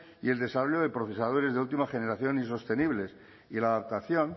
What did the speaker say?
y el desarrollo de procesadores de última generación y sostenibles y la adaptación